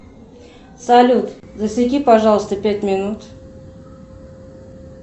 салют засеки пожалуйста пять минут